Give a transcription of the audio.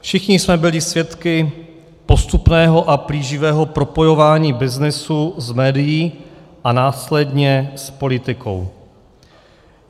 Všichni jsme byli svědky postupného a plíživého propojování byznysu s médii a následně s politikou.